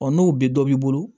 Ɔ n'o bɛ dɔ b'i bolo